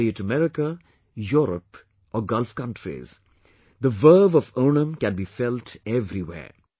Be it America, Europe or Gulf countries, the verve of Onam can be felt everywhere